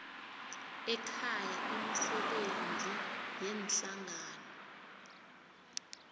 ekhaya imisebenzi yeenhlangano